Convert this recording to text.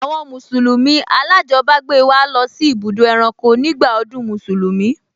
Àwọn mùsùlùmí alájọbágbé wa lọ sí ibùdó ẹranko nígbà ọdún Mùsùlùmí